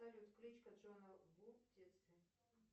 салют кличка джона ву в детстве